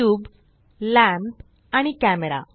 cube lamp आणि camera